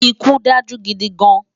Ikú dájú gidi gán